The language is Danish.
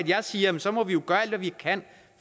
jeg siger at vi så må gøre alt hvad vi kan